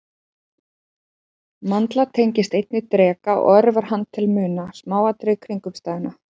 Mandla tengist einnig dreka og örvar hann til að muna smáatriði kringumstæðna.